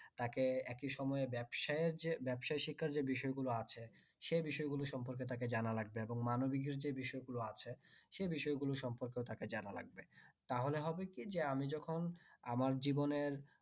তাকে একি সময়ে ব্যবসায়ে যে ব্যবাসা শিক্ষার যে বিষয় গুলো আছে সে বিষয় সম্পর্কে তাকে জানা লাগবে এবং মানবিক বিষয় গুলো যে গুলো আছে সে বিষয় গুলোর সম্পর্কের তাকে জানা লাগবে তাহলে হবে কি যে আমি যখন আমার জীবনের